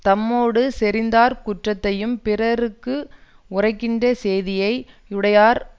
தம்மோடு செறிந்தார் குற்றத்தையும் பிறர்க்கு உரைக்கின்ற சேதியை யுடையார்